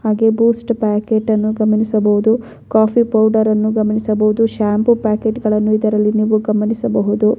ಹಾಗೆ ಬೂಸ್ಟ್ ಪ್ಯಾಕೇಟನ್ನು ಗಮನಿಸಬಹುದು ಕೊಫೀ ಪೌಡರನ್ನು ಗಮನಿಸಬಹುದು ಶಾಂಪೂ ಪ್ಯಾಕೆಟ್ಗಳನ್ನು ಇದರಲ್ಲಿ ನೀವು ಗಮನಿಸಬಹುದು.